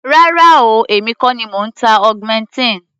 Rárá o, èmi kọ́ ni mò ń ta augmentin.